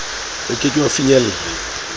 o ke ke wa finyella